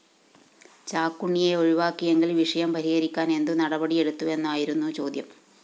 ചാക്കുണ്ണിയെ ഒഴിവാക്കിയെങ്കില്‍ വിഷയം പരിഹരിക്കാന്‍ എന്തുനടപടിയെടുത്തുവെന്നായിരുന്നു ചോദ്യം